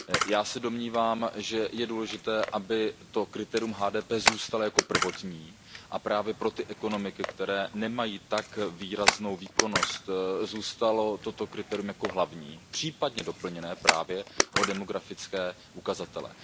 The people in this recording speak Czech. Já se domnívám, že je důležité, aby to kritérium HDP zůstalo jako prvotní a právě pro ty ekonomiky, které nemají tak výraznou výkonnost, zůstalo toto kritérium jako hlavní, případně doplněné právě o demografické ukazatele.